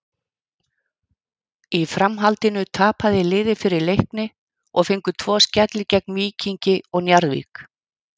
Í framhaldinu tapaði liðið fyrir Leikni og fengu tvo skelli gegn Víkingi og Njarðvík.